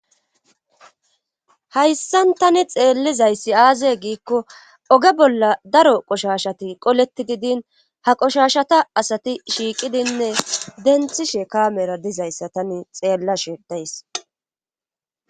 Hayssan tani xeellizayssi aaze giikko oge bolla daro qoshashati qoleti gidin ha qoshashata asati shiiqidinne denthishe kaamera dizayssa tani xeellashe days.